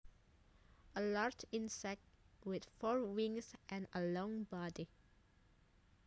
A large insect with four wings and a long body